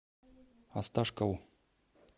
осташкову